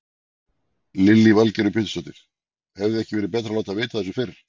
Lillý Valgerður Pétursdóttir: Hefði ekki verið betra að láta vita af þessu fyrr?